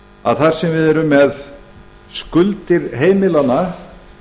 að þar sem við erum með skuldir heimilanna